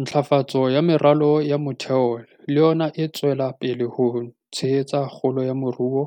Ntlafatso ya meralo ya motheo le yona e tswela pele ho tshehetsa kgolo ya moruo